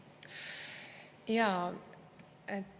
Jaa.